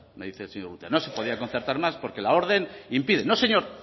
me dice el señor urrutia no se podían concertar más porque la orden impide no señor